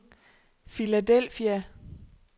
Philadelphia